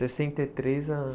Sessenta e três a